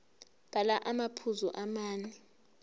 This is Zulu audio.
bhala amaphuzu amane